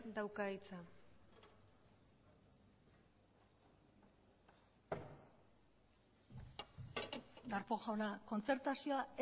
dauka hitza darpón jauna kontzertazioa